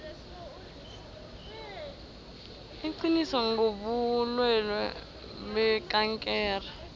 iqiniso ngobulwelwe bekankere